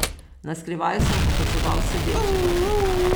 Na skrivaj sem opazoval sedečega.